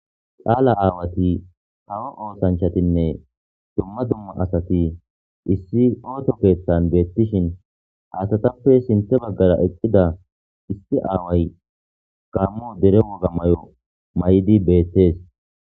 Qaala aawati hawa oosanchatinne dumma dumma asati issi ooto keeththan beettishin asatappe sinthe baggara eqqida issi aaway gammu dere woga may'o may'di beettees.